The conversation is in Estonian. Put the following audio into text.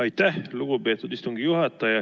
Aitäh, lugupeetud istungi juhataja!